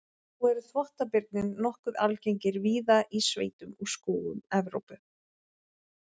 Nú eru þvottabirnir nokkuð algengir víða í sveitum og skógum Evrópu.